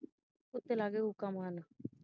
ਕੁੱਤੇ ਲੱਗਗੇ ਹੂਕਾ ਮਾਰਨ।